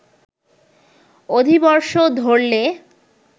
অধিবর্ষ ধরলে